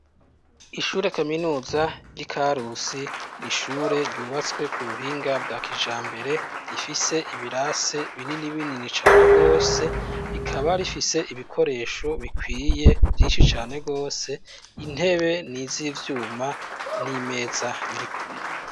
Ishure kaminuza ry'iKarusi n'ishure ryubatswe ku buhinga bwa kijambere rifise ibirase binini binini cane gwose, rikaba rifise ibikoresho bikwiye vyinshi cane gwose, intebe n'iz'ivyuma n'imeza birikumwe.